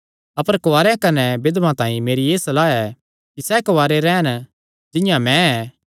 अपर कुआरेआं कने बिधवां तांई मेरी एह़ सलाह ऐ कि सैह़ कुआरे रैह़न जिंआं मैं ऐ